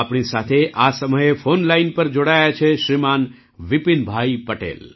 આપણી સાથે આ સમય ફૉન લાઇન પર જોડાયા છે શ્રીમાન વિપિનભાઈ પટેલ